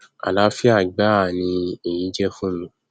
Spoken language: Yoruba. àláfíà gbáà ni èyí jẹ fún mi